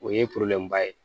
O ye ba ye